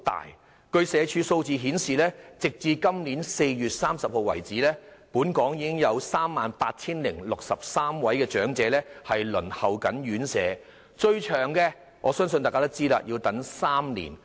社會福利署的數字顯示，截至本年4月30日為止，本港已有 38,063 位長者正在輪候院舍，而相信大家也知道，最長的輪候年期是3年。